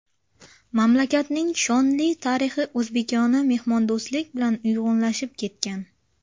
Mamlakatning shonli tarixi o‘zbekona mehmondo‘stlik bilan uyg‘unlashib ketgan.